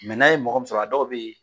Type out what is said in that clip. Mɛ n'a ye mɔgɔ min sɔrɔ a dɔw bɛ yen